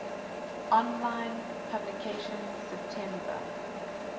online publication september